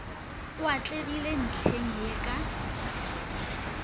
o atlegile ntlheng ye ka